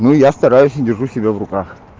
ну я стараюсь и держу себя в руках